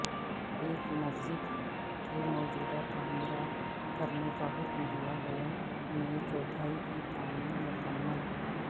اک مسجد کے موجودہ تعمیرات کرنے کا حکم دیا گیا نئے چوتھائی کی تعمیر مکمل